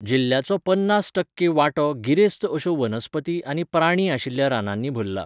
जिल्ल्याचो पन्नास टक्के वांटो गिरेस्त अश्यो वनस्पती आनी प्राणी आशिल्ल्या रानांनी भरला.